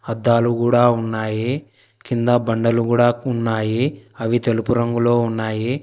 అద్దాలు గూడా ఉన్నాయి కింద బండలు గూడా ఉన్నాయి అవి తెలుపు రంగులో ఉన్నాయి.